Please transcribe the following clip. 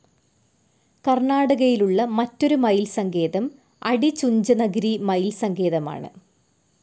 കർണ്ണാടകയിലുള്ള മറ്റൊരു മയിൽ സങ്കേതം അടിചുഞ്ചനഗിരി മയിൽ സങ്കേതമാണ്.